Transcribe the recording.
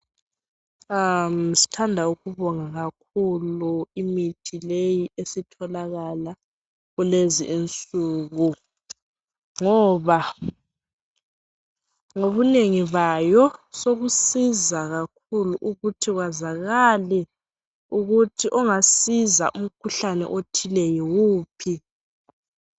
Sithanda ukubonga kakhulu imithi leyi esitholakala kulezi insuku ngoba ngobunengi bayo sokusiza kakhulu ukuthi kwazakale ukuthi ongasiza umkhuhlane othile yiwuphi.